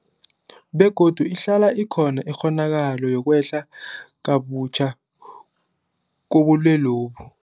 Begodu ihlala ikhona ikghonakalo yokwehla kabutjha kobulwelobu.